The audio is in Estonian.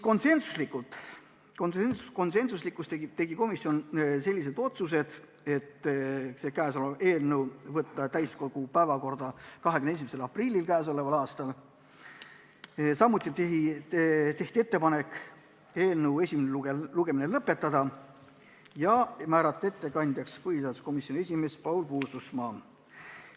Komisjon tegi konsensusega sellised otsused: võtta eelnõu täiskogu päevakorda 21. aprilliks, teha ettepanek eelnõu esimene lugemine lõpetada ja määrata ettekandjaks põhiseaduskomisjoni esimees Paul Puustusmaa.